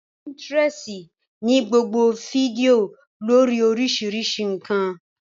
Pínítirẹsi ní gbogbo fídíò lórii oríṣiríṣi ǹkan